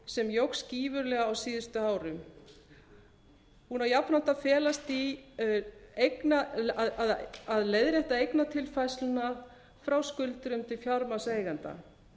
sem jókst gífurlega á síðustu árum hún á jafnframt að felast í að leiðrétta eignatilfærsluna frá skuldurum til fjármagnseigenda